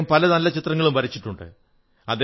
അദ്ദേഹം പല ചിത്രങ്ങളും വരച്ചിട്ടുണ്ട്